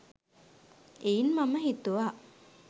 එයින් මම හිතුවා